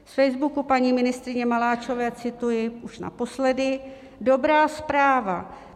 Z Facebooku paní ministryně Maláčové cituji už naposledy: "Dobrá zpráva.